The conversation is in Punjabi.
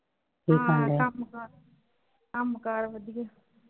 ਹਾਂ ਕੰਮਕਾਰ ਕੰਮਕਾਰ ਵਧੀਆ।